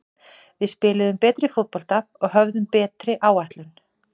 Við spiluðum betri fótbolta og höfðum betri áætlun.